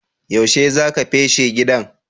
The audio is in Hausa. Yaushe za ka feshi gidan?